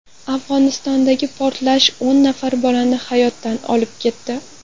Afg‘onistondagi portlash o‘n nafar bolani hayotdan olib ketdi.